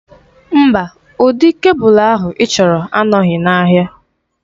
Mba, ụdị kebụl ahụ ịchọrọ anọghị n'ahịa.